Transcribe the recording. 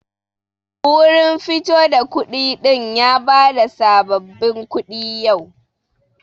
Wurin fito da kuɗi din ya bada sabbabin kuɗi yau.